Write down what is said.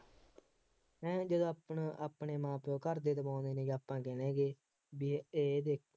ਹੈਂ ਜਦੋਂ ਆਪਣਾ ਆਪਣੇ ਮਾਂ ਪਿਉ ਘਰਦੇ ਆਪਾਂ ਰਹਿ ਗਏ ਬਈ ਇਹ